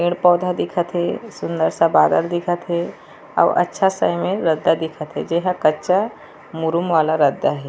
पेड़-पौधा दिखत हे सूंदर सा बादल दिखत हे और अच्छा सा ईमें रद्दा दिखत हे जे ह कच्चा मुरुम वाला रद्दा हे।